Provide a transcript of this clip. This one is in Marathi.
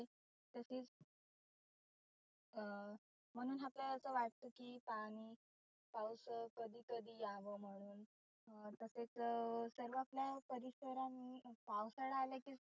तसेच अं म्हणुन आपल्याला असं वाटतं की पाणि पाऊस कधी कधी यावं म्हणुन. अं तसेच सर्व आपला परिसर आणि पावसाळा आला की